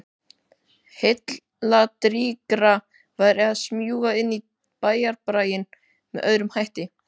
Heilladrýgra væri að smjúga inn í bæjarbraginn með öðrum hætti.